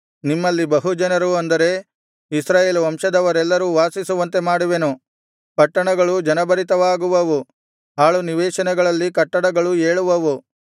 ನಿಮ್ಮಲ್ಲಿ ಬಹು ಜನರು ಅಂದರೆ ಇಸ್ರಾಯೇಲ್ ವಂಶದವರೆಲ್ಲರೂ ವಾಸಿಸುವಂತೆ ಮಾಡುವೆನು ಪಟ್ಟಣಗಳು ಜನಭರಿತವಾಗುವವು ಹಾಳು ನಿವೇಶನಗಳಲ್ಲಿ ಕಟ್ಟಡಗಳು ಏಳುವವು